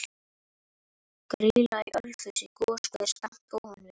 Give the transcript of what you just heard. Grýla í Ölfusi, goshver skammt ofan við